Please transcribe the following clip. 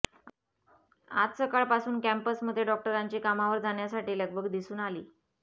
आज सकाळपासून कॅम्पसमध्ये डॉक्टरांची कामावर जाण्यासाठी लगबग दिसून आली